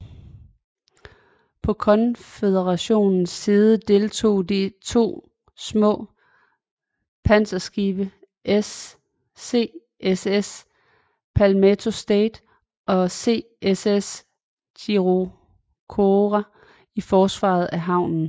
På Konføderationens side deltog de to små panserskibe CSS Palmetto State og CSS Chicora i forsvaret af havnen